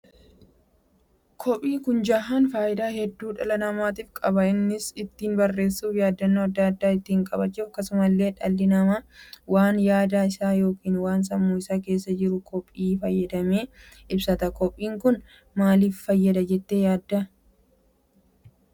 Koppii kun jahaan faayidaa hedduu dhala namaatiif qaba. innis ittiin barreessuuf yaaddannoo adda addaa ittiin qabachuuf akkasumallee dhalli namaa waan yaada isaa ykn waan sammuu isaa keessa jiru koppii fayyadamee ibsata. Koppiin kun maaliif fayyada jettee yaadda?